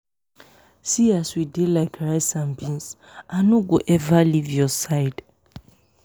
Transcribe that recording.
see as we dey like rice and bean. i no go ever leave your side